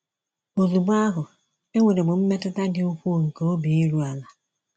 Ozugbo ahụ, enwere m mmetụta dị ukwuu nke obi iru ala.